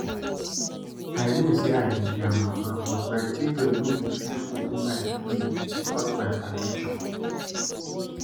I know say I be their mama but my children no go fit open my fridge without my permission